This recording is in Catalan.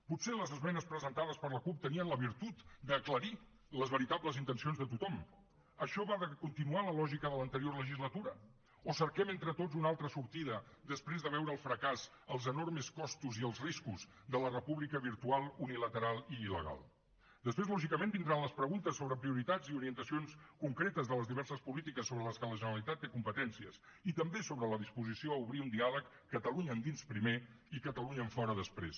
potser les esmenes presentades per la cup tenien la virtut d’aclarir les veritables intencions de tothom això va de continuar la lògica de l’anterior legislatura o cerquem entre tots una altra sortida després de veure el fracàs els enormes costos i els riscos de la república virtual unilateral i il·legal després lògicament vindran les preguntes sobre prioritats i orientacions concretes de les diverses polítiques sobre les que la generalitat té competències i també sobre la disposició a obrir un diàleg catalunya endins primer i catalunya enfora després